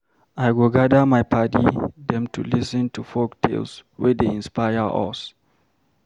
I go gather my paddy dem to lis ten to folk tales wey dey inspire us.